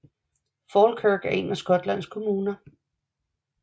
Falkirk er en af Skotlands kommuner